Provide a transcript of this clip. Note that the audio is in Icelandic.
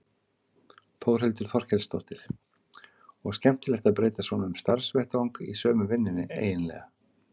Þórhildur Þorkelsdóttir: Og skemmtilegt að breyta svona um starfsvettvang í sömu vinnunni eiginlega?